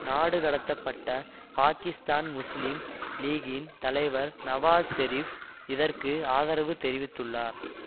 நாடு கடத்தப்பட்ட பாகிஸ்தான் முஸ்லீம் லீகின் தலைவர் நவாஸ் ஷெரீப் இதற்கு ஆதரவு தெரிவித்துள்ளார்